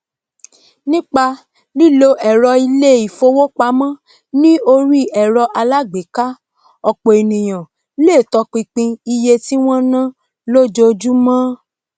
nípa lílo èrọ ilé ìfowópamó ní orí èrọ alágbèéká òpò ènìyàn le topinpin iye tí wón náá lójojúmó